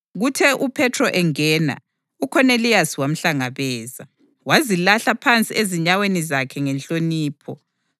Kuthe uPhethro engena, uKhoneliyasi wamhlangabeza, wazilahla phansi ezinyaweni zakhe ngenhlonipho.